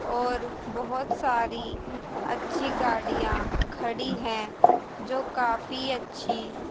और बहोत सारी अच्छी गाड़ियां खड़ी है जो काफी अच्छी--